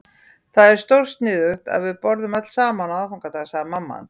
Það er stórsniðugt að við borðum öll saman á aðfangadag, sagði mamma hans.